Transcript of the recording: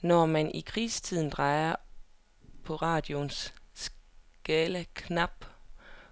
Når man i krigstiden drejede på radioens skalaknap,